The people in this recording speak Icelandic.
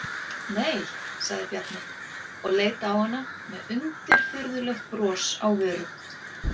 Nei, sagði Bjarni og leit á hana með undirfurðulegt bros á vörum.